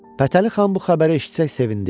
Fətəli xan bu xəbəri eşitsək sevindi.